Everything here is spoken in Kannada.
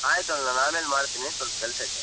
ಆಯ್ತ್ ನಾನ್ ಅಮೇಲ್ ಮಾಡ್ತೀನಿ ಸ್ವಲ್ಪಕೆಲ್ಸ ಐತೆ.